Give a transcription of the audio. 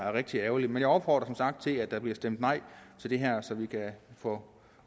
er rigtig ærgerligt men jeg opfordrer som sagt til at der bliver stemt nej til det her så vi kan få